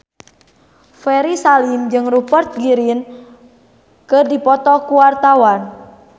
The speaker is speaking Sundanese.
Ferry Salim jeung Rupert Grin keur dipoto ku wartawan